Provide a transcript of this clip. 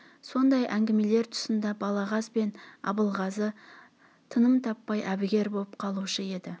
сондай әңгімелер тұсында балағаз бен абылғазы тыным таппай әбігер боп қалушы еді